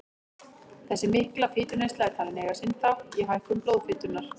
Þessi mikla fituneysla er talin eiga sinn þátt í hækkun blóðfitunnar.